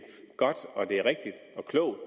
godt og det er rigtigt og klogt